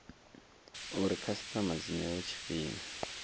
uri khasitama dzi newe tshifhinga